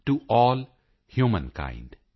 to all humankind